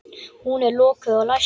Hún er lokuð og læst.